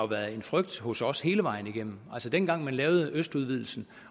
været en frygt hos os hele vejen igennem dengang man lavede østudvidelsen